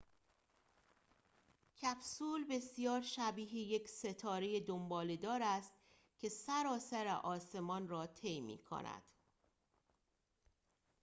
کپسول بسیار شبیه یک ستاره دنباله‌دار است که سراسر آسمان را طی می‌کند